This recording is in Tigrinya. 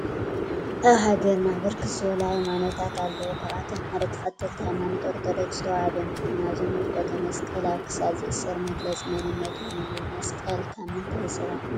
አብ ሃገርና ብርክት ዝበሉ ሃይማኖታት አለው ካብ አቶም ሓደ ተክተልቲ ሃይማኖት አርቶዶኮስ ተዋህዶ እንተኮን አብዚ ንምልከቶ መስቀል አብ ክሳድ ዝእሰር መግለፂ መንነቶም አዩ ።መሰቀል ካብ ምንታይ ዝስራሕ ይመስለኩም?